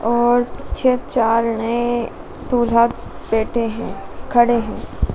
और छे चार ने दूल्हा बैठे हैं खड़े हैं।